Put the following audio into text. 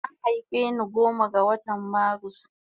An haife ni goma ga watan marus